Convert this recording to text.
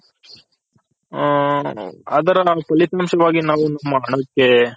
ಅದರ ಫಲಿತಾಂಶ ವಾಗಿ ನಾವು ಮಾಡೋಕೆ